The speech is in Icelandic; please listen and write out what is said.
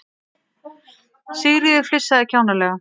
Sigríður flissaði kjánalega.